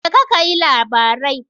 Jeka kayi labarai.